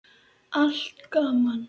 Allt gaman.